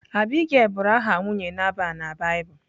Abigail bụrụ aha nwunye Nabal na Baịbụl.